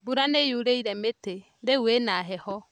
Mbura nĩyurĩire mĩtĩ, rĩu ĩna heho